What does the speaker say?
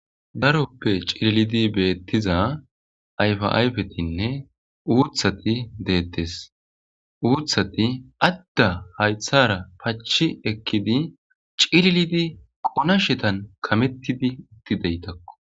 Darope cililidi betiza ayifa ayifetine utati detes utati adda hayitara pachi ekidi cililidi konashetan kametidi utidayitakko.